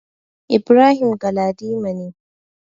Ibrahim Galadima ne.